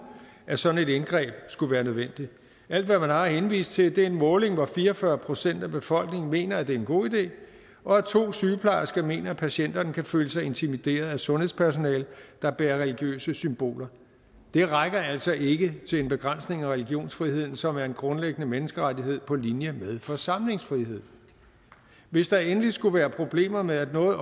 at sådan et indgreb skulle være nødvendigt alt hvad man har at henvise til er en måling hvor fire og fyrre procent af befolkningen mener at det er en god idé og at to sygeplejersker mener at patienterne kan føle sig intimideret af sundhedspersonale der bærer religiøse symboler det rækker altså ikke til en begrænsning af religionsfriheden som er en grundlæggende menneskerettighed på linje med forsamlingsfrihed hvis der endelig skulle være problemer med at